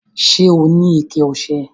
Ṣẹ́ ọ ni ìkẹ̀ ọṣẹ?